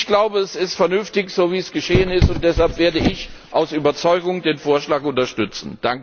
Ich glaube, es ist vernünftig, so wie es geschehen ist, und deshalb werde ich aus Überzeugung den Vorschlag unterstützen!